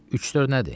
Üç-dörd nədir?